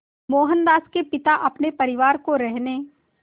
मोहनदास के पिता अपने परिवार को रहने